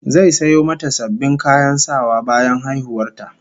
Zai sayo mata sabbin kayan sawa bayan haihuwar ta